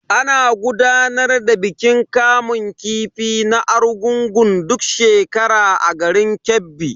Ana gudanar da bikin kamun kifi na Argungun duk shekara a garin Kebbi.